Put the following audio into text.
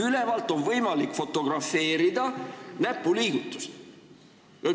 Ülevalt on võimalik näpuliigutust fotografeerida.